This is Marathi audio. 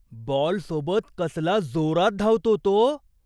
बॉलसोबत कसला जोरात धावतो तो!